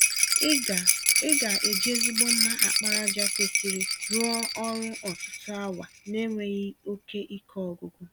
Ị ga Ị ga eji ezigbo mma àkpàràjà kwesịrị rụọ ọrụ ọtụtụ awa n'enweghị oke ike ọgwụgwụ.